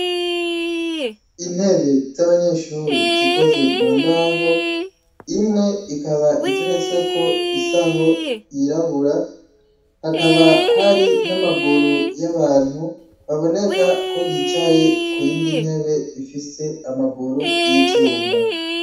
Intebe z'abanyeshure zikozwe mumbaho, imwe ikaba iteretseko isaho yirabura , hakaba hari n'amaguru y'abantu baboneka ko bicaye kuyindi ntebe ifise amaguru y'ivyuma